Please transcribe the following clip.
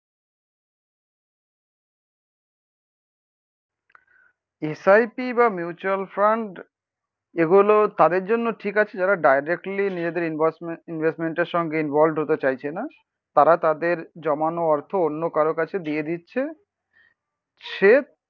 S I P বা mutual fund এগুলো তাদের জন্য ঠিক আছে যারা ডাইরেক্টলি নিজেদের ইনভয়েসমেন্ট ইনভেস্টমেন্টের সঙ্গে ইনভলভ হতে চাইছে না, তারা তাদের জমানো অর্থ অন্য কারোর কাছে দিয়ে দিচ্ছে সে